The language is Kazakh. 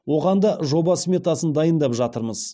оған да жоба сметасын дайындап жатырмыз